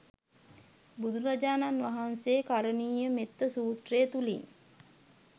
බුදුරජාණන් වහන්සේ කරණීය මෙත්ත සූත්‍රය තුළින්